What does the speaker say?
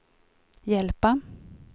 hjälpa